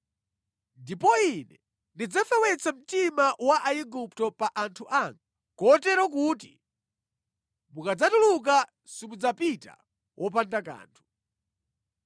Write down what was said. “Ndipo ine ndidzafewetsa mtima wa Aigupto pa anthu anga, kotero kuti mukadzatuluka simudzapita wopanda kanthu.